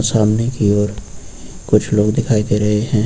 सामने की ओर कुछ लोग दिखाई दे रहे हैं।